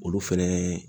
Olu fɛnɛ